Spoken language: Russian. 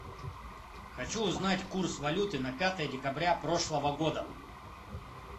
хочу узнать курс валюты на пятое декабря прошлого года